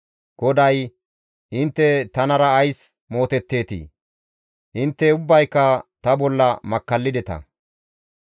GODAY, «Intte tanara ays mootetteetii? Intte ubbayka ta bolla makkallideta.